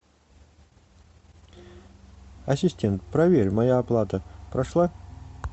ассистент проверь моя оплата прошла